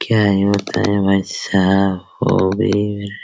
क्या है पता है भाई साहब